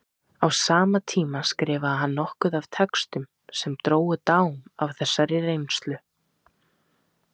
Á sama tíma skrifaði hann nokkuð af textum sem drógu dám af þessari reynslu.